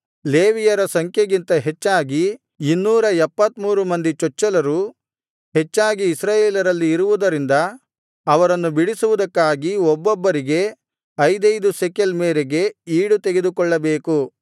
ಲೇವಿಯರ ಸಂಖ್ಯೆಗಿಂತ ಹೆಚ್ಚಾಗಿ 273 ಮಂದಿ ಚೊಚ್ಚಲರು ಹೆಚ್ಚಾಗಿ ಇಸ್ರಾಯೇಲರಲ್ಲಿ ಇರುವುದರಿಂದ ಅವರನ್ನು ಬಿಡಿಸುವುದಕ್ಕಾಗಿ ಒಬ್ಬೊಬ್ಬರಿಗೆ ಐದೈದು ಶೆಕೆಲ್ ಮೇರೆಗೆ ಈಡು ತೆಗೆದುಕೊಳ್ಳಬೇಕು